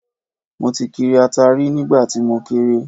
Mo ti kiri ata rí nígbà tí mo kéré